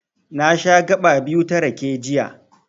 Na sha gaɓa biyu ta rake, jiya.